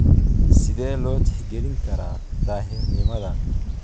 Sidee loo tixgalin karaa daahirnimadan?